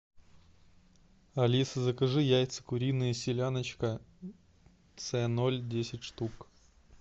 алиса закажи яйца куриные селяночка ц ноль десять штук